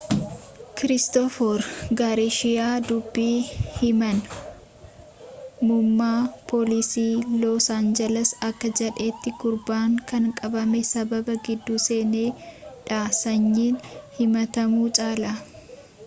kiristoofer garshiyaa dubbi himaan muummaa poolisii loos aanjiles akka jedhetii gurbaan kan qabamee sababa gidduu seeneef dha sanyiin himaatamuu caalaa